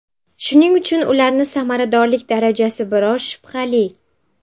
Shuning uchun ularni samaradorlik darajasi biroz shubhali.